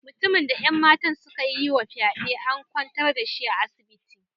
Mutumin da 'yan matan suka yi wa fyade, an kwantar da shi a asibiti.